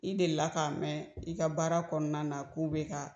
I deli la ka mɛn i ka baara kɔnɔna na k'u be ka